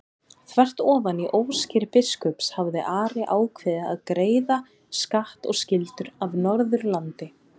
Þvert ofan í óskir biskups hafði Ari ákveðið að greiða skatt og skyldur af Norðurlandi.